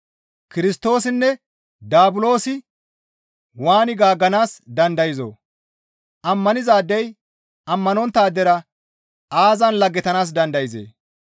Kirstoosinne Daabulosi waani gaagganaas dandayzoo? Ammanizaadey ammanonttaadera aazan laggetanaas dandayzee?